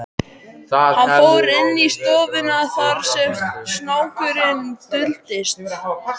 Hann fór inn í stofuna þar sem snákurinn duldist.